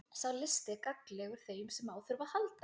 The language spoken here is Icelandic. Sá listi er gagnlegur þeim sem á þurfa að halda.